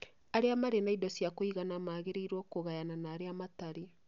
arĩa marĩ na indo cia kũigana magĩrĩirũo kũgayana na arĩa matarĩ.